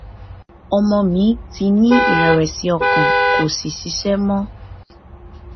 ọmọ mi ti ní ìrẹwẹsì ọkàn kò sì ṣiṣẹ mọ